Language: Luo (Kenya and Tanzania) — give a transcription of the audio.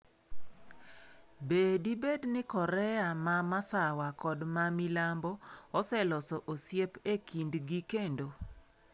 Be dibed ni Korea ma Masawa kod ma Milambo oseloso osiep e kindgi kendo?